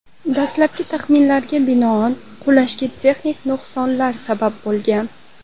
Dastlabki taxminlarga binoan, qulashga texnik nuqsonlar sabab bo‘lgan.